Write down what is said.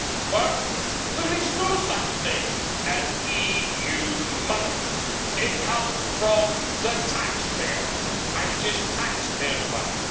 First, there is no such thing as EU money. It comes from the taxpayer, and it is taxpayers' money.